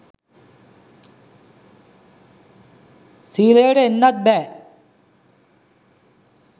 සීලයට එන්නත් බෑ